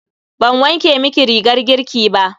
Ban wanke miki rigar girki ba.